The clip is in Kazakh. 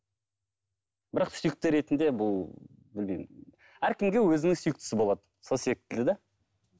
бірақ сүйікті ретінде бұл білмеймін әркімге өзінің сүйіктісі болады сол себепті де